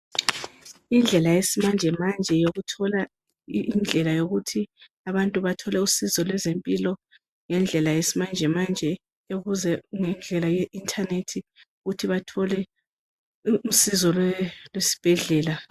Indlela yesimanjemanje yokuthola indlela yokuthi abantu bathole usizo kwezempilo ngendlela yesimanjemanje ngendlela ye internet ukuthi bathole usizo lesibhedlela